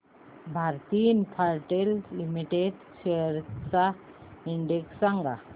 Bharti Infratel limited shares चा index सांगा